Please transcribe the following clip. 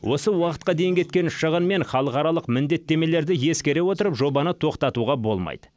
осы уақытқа дейін кеткен шығын мен халықаралық міндеттемелерді ескере отырып жобаны тоқтатуға болмайды